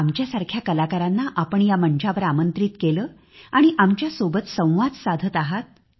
आमच्यासारख्या कलाकारांना आपण या मंचावर आमंत्रित केले आणि आमच्या सोबत संवाद साधत आहात